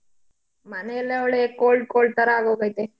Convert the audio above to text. ಮನೆಯಲ್ಲಾ ಒಳ್ಳೆ cold cold ಥರಾ ಆಗೋಗೈತೆ.